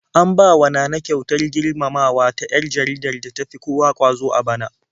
An bawa Nana kyautar girmamawa ta 'yar jaridar da tafi kowa ƙwazo a bana.